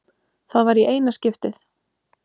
Það var í eina skiptið.